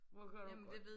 Hvor går du